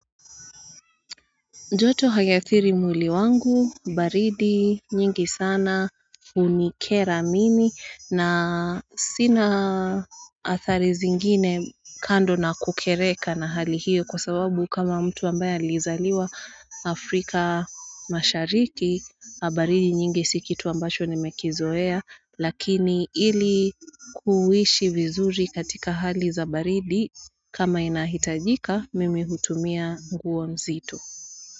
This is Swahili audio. Joto haiadhiri mwili wangu, baridi, nyingi sana, hunikera mimi, na sina adhari zingine kando na kukereka na hali hiyo kwa sababu kama mtu ambaye alizaliwa Afrika mashariki, baridi nyingi si kitu ambacho nimekizoea, lakini ili kuishi vizuri katika hali za baridi, kama inahitajika, mimi hutumia nguo nzito. Kwa hivyo.